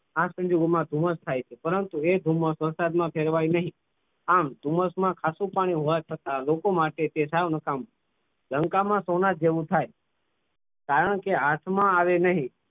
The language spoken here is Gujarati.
આ સંજોગો માં ધુમ્મ્સ થાય છે પરંતુ એ ધુમ્મસ વરસાદમાં ફેરવાય નહીં આમ ધુમ્મસમાં આછું પાણી હોવાથી છતાં લોકો માટે તે સાવ નકામ મૂલંકામાં સોના જેવું થાય કારણ કે હાથમાં આવી નહીં.